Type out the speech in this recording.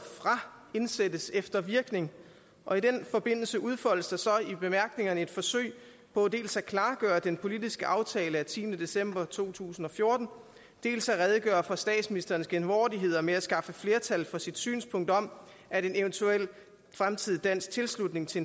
fra indsættes efter virkning og i den forbindelse udfoldes der så i bemærkningerne et forsøg på dels at klargøre den politiske aftale af tiende december to tusind og fjorten dels at redegøre for statsministerens genvordigheder med at skaffe flertal for sit synspunkt om at en eventuel fremtidig dansk tilslutning til